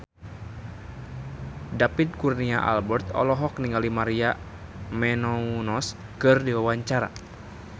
David Kurnia Albert olohok ningali Maria Menounos keur diwawancara